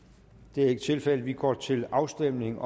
det er ikke tilfældet vi går til afstemning